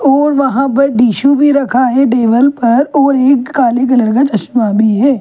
और वहाँ पर टिशू भी रखा है टेबल पर और एक काले कलर का चश्मा भी है।